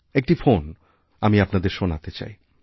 একটি ফোন আমি আপনাদের শোনাতে চাই